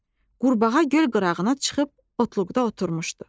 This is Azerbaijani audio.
Qurbağa göl qırağına çıxıb otluqda oturmuşdu.